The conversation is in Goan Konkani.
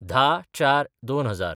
१०/०४/२०००